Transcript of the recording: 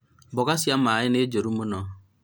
mboga cia maĩ nĩ njũru mũno